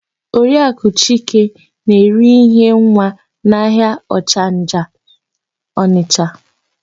Oriakụ Chike na-ere íhé nwa n'ahịa Ọchanja Ọnịsha.